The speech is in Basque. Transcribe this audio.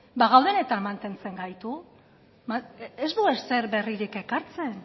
ba gaudenetan mantentzen gaitu ez du ezer berririk ekartzen